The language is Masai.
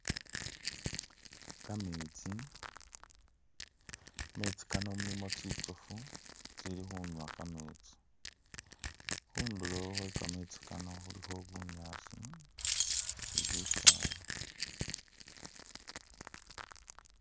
Ka metsi, mu metsi Kano mulimo tsitsofu tsili khunywa kametsi, khundulo khwe kametsi kano khulikho bunyaasi ni bisaala.